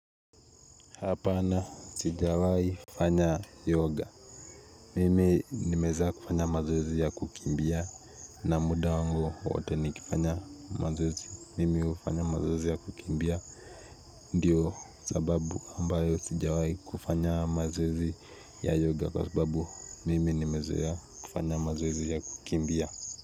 Hapana sijawai fanya yoga. Mimi nimeweza kufanya mazoezi ya kukimbia na muda wangu wote nikifanya mazoezi. Mimi hufanya mazoezi ya kukimbia. Ndiyo sababu ambayo sijawai kufanya mazoezi ya yoga kwa sababu mimi nimezoea kufanya mazoezi ya kukimbia.